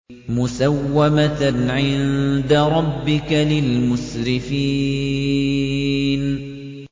مُّسَوَّمَةً عِندَ رَبِّكَ لِلْمُسْرِفِينَ